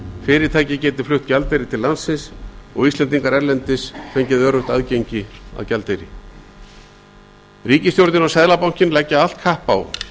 fyrirtæki geti flutt gjaldeyri til landsins og íslendingar erlendis fái öruggt aðgengi að gjaldeyri ríkisstjórnin og seðlabankinn leggja allt kapp á